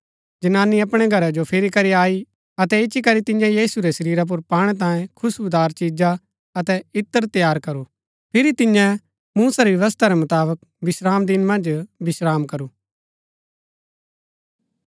जनानी अपणै घरा जो फिरी करी आई अतै इच्ची करी तियें यीशु रै शरीरा पुर पाणै तांयें खुश्‍बुदार चिजा अतै इत्र तैयार करू फिरी तियैं मूसा री व्यवस्था रै मुताबक विश्रामदिन मन्ज विश्राम करू